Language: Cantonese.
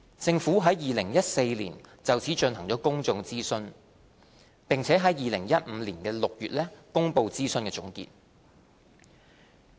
政府在2014年就此進行了公眾諮詢，並在2015年6月公布諮詢總結。